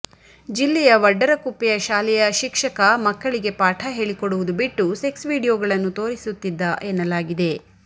ಜಿಲ್ಲೆಯ ವಡ್ಡರ ಕುಪ್ಪೆಯ ಶಾಲೆಯ ಶಿಕ್ಷಕ ಮಕ್ಕಳಿಗೆ ಪಾಠ ಹೇಳಿಕೊಡುವುದು ಬಿಟ್ಟು ಸೆಕ್ಸ್ ವಿಡಿಯೋಗಳನ್ನು ತೋರಿಸುತ್ತಿದ್ದ ಎನ್ನಲಾಗಿದೆ